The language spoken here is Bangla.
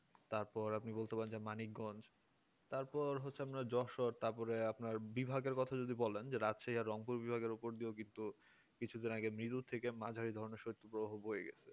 তারপরে আপনি বলতে পারেন মানিকগঞ্জ তারপরে হচ্ছে আপনার যশোর তারপরে আপনার বিভাগের কথা বলেন রাতে রংপুর বিভাগের উপর দিয়ে কিছুদিন আগে মেরু থেকে মাঝারি ধরনের শীত প্রবাহ বয়ে গেছে